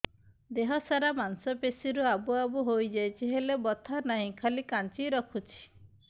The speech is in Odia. ଦେହ ସାରା ମାଂସ ପେଷି ରେ ଆବୁ ଆବୁ ହୋଇଯାଇଛି ହେଲେ ବଥା ନାହିଁ ଖାଲି କାଞ୍ଚି ରଖୁଛି